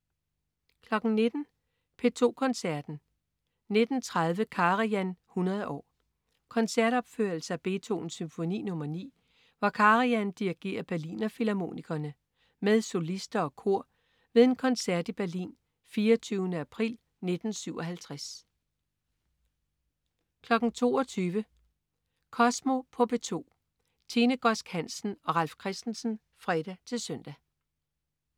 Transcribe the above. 19.00 P2 Koncerten. 19.30 Karajan 100 år. Koncertopførelse af Beethovens Symfoni nr. 9, hvor Karajan dirigerer Berliner Philharmonikerne med solister og kor ved en koncert i Berlin 24. april 1957 22.00 Kosmo på P2. Tine Godsk Hansen og Ralf Christensen (fre-søn)